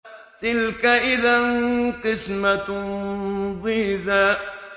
تِلْكَ إِذًا قِسْمَةٌ ضِيزَىٰ